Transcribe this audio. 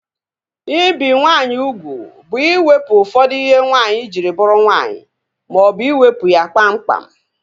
Ibi nwaanyị ugwu bụ iwepụ ụfọdụ ihe nwaanyị jiri bụrụ nwaanyị maọbụ iwepu ya kpam kpam